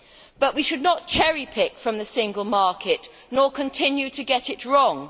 But we should not cherry pick from the single market, nor continue to get it wrong.